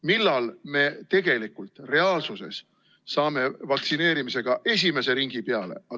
Millal me tegelikult saame vaktsineerimise esimese ringi tehtud?